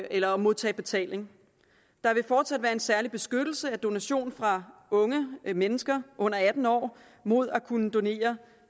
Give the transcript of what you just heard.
eller at modtage betaling der vil fortsat være en særlig beskyttelse af donation fra unge mennesker under atten år mod at kunne donere